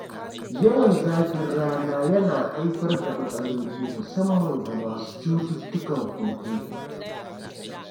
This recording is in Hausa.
Yawan zafin rana yana haifar da matsaloli musamman ga masu cututtukan huhu.